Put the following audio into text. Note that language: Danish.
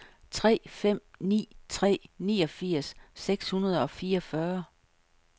tre fem ni tre niogfirs seks hundrede og fireogfyrre